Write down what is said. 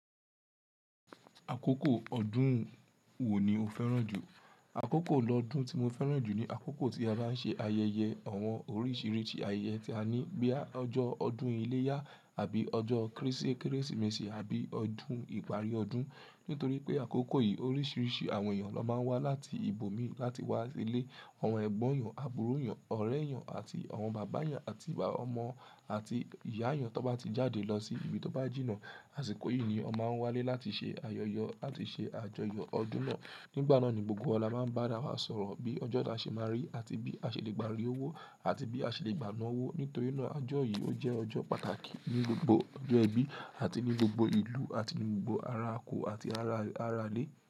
Àkókò ọdún wo ni o fẹ́ràn jù? Àkókò lọ́dún tí mo fẹ́ràn jù ni àkókò tí a bá ń ṣe ayẹyẹ àwọn oríṣiríṣi ayẹyẹ tí a ní. Bóyá ọjọ́ ọdún iléyá àbí ọjọ́ Kérésìmesì àbí ọdún ìparí ọdún. Nítorí pé àkókò yìí oríṣiríṣi àwọn èèyàn ló máa ń wá láti ibòmíì láti wá ilé. Àwọn ẹ̀gbọ́n èèyàn, àbúrò èèyàn, ọ̀rẹ́ èèyàn àti àwọn bàbá èèyàn àti ọmọ àti ìyá èèyàn tó bá ti jáde lọ sí ibi tó bá jìnnà. Àsìkò yìí ni wọ́n máa ń wálé láti ṣe ayọyọ̀ àti ṣe àjọyọ̀ ọdún náà. Nígbà náà ni gbogbo wa máa ń bá ara wa sọ̀rọ̀ bí ọjọ́ da ṣe máa rí àti bí a ṣe lè gbàrí owó àti bí a ṣe lè gbà ná owó. Nítorí náà ọjọ́ yìí ó jẹ́ ọjọ́ pàtàkì ní gbogbo ọjọ́ ẹbí àti ní gbogbo ìlú àti ní gbogbo ara oko àti ara alẹ́.